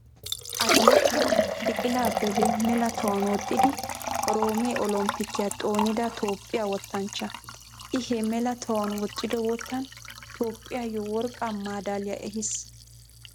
Atileetiyaa Biqila Abebe mela tohuwan woxxidi Oroome olompikiyaa xoonida Toophphiyaa wottanchcha. I he mela tohuwan woxxido wottan Toophphiyawu worqqaa madaaliyaa ehiis.